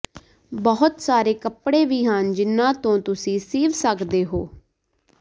ਬਹੁਤ ਸਾਰੇ ਕੱਪੜੇ ਵੀ ਹਨ ਜਿਨ੍ਹਾਂ ਤੋਂ ਤੁਸੀਂ ਸੀਵ ਸਕਦੇ ਹੋ